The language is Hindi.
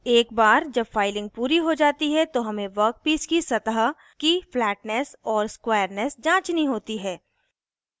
एक बार जब फाइलिंग पूरी हो जाती है तो हमें वर्कपीस सतह की फ्लैट्नेस और स्क्वायरनेस जाँचनी होती है